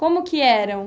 Como que eram?